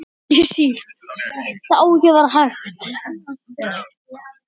Blöðin eru löng.